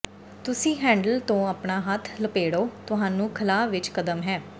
ਤੁਸੀਂ ਹੈਂਡਲ ਤੋਂ ਆਪਣਾ ਹੱਥ ਲਪੇੜੋ ਤੁਹਾਨੂੰ ਖਲਾਅ ਵਿੱਚ ਕਦਮ ਹੈ